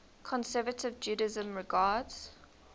conservative judaism regards